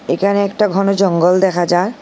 এখানে একটা ঘণ জঙ্গল দেখা যায়।